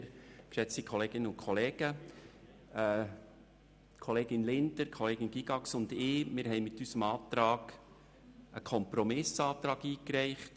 Die Kolleginnen Linder und Gygax und ich haben mit unserem Antrag einen Kompromiss eingereicht.